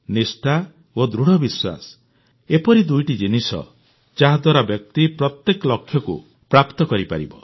ନିଷ୍ଠା ଓ ଦୃଢ଼ବିଶ୍ୱାସ ଏପରି ଦୁଇଟି ଜିନିଷ ଯାହାଦ୍ୱାରା ବ୍ୟକ୍ତି ପ୍ରତ୍ୟେକ ଲକ୍ଷ୍ୟକୁ ପ୍ରାପ୍ତ କରିପାରିବ